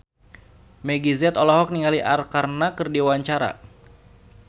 Meggie Z olohok ningali Arkarna keur diwawancara